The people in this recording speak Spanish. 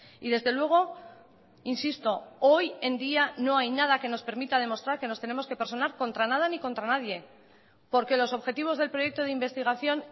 y desde luego insisto hoy en día no hay nada que nos permita demostrar que nos tenemos que personar contra nada ni contra nadie porque los objetivos del proyecto de investigación